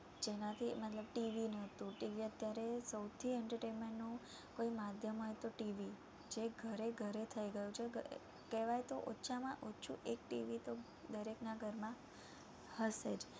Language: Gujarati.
જેનાથી મતલબ TV નતું TV અત્યારે સૌથી entertainment નું કોઈ માધ્યમ હોય તો TV જે ઘરે-ઘરે થઈ ગયું છે કેવાય તો ઓછાંમાં ઓછું એક TV તો દરેક ના ઘર માં હસે જ